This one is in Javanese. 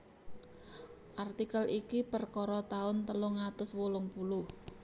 Artikel iki perkara taun telung atus wolung puluh